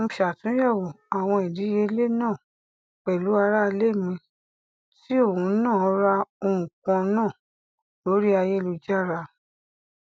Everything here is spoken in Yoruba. mo ṣàtúnyẹwò àwọn ìdíyelé náà pẹlú aráalé mi tí òhun náà ra ohun kan náà lórí ayélujára